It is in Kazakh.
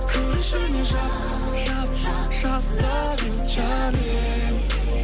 кір ішіне жап жап жап лав ю джаним